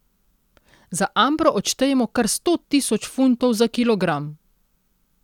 Za ambro odštejemo kar sto tisoč funtov za kilogram.